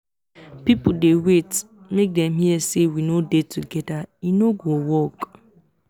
people dey wait make dem hear say we no dey together e no go work.